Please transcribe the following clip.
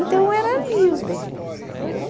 Então eram ali os beijinhos, entendeu?